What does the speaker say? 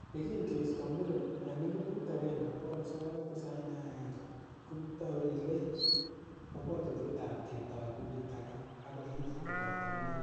Yekin keisto muren en 1991,Kokitou Riley kobwotutiet ab ketoi kundit age ak kolil koboto inendet.